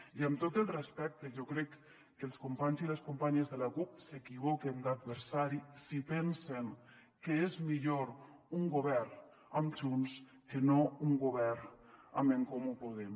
i amb tot el respecte jo crec que els companys i les companyes de la cup s’equivoquen d’adversari si pensen que és millor un govern amb junts que no un govern amb en comú podem